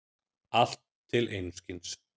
Allt til einskis.